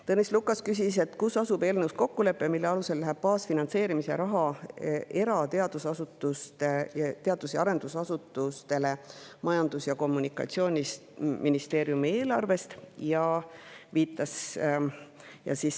Tõnis Lukas küsis, kus asub eelnõus kokkulepe, mille alusel läheb baasfinantseerimise raha era teadus‑ ja arendusasutustele Majandus‑ ja Kommunikatsiooniministeeriumi eelarvest.